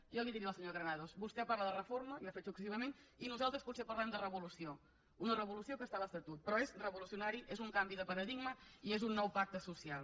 jo li diré a la senyora granados vostè parla de reforma i ho ha fet successivament i nosaltres potser parlem de revolució una revolució que està a l’estatut però és revolucionari és un canvi de paradigma i és un nou pacte social